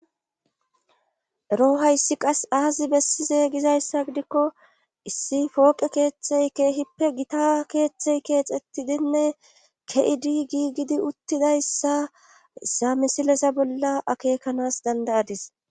Ero hayssan qas aazi bessizey gizayssa gidikko issi fooqe keeththey keehippe gita keeththey keexettidinne ke7idi gigidi uttidayssa samisilesa bolla akekanas dandayadis.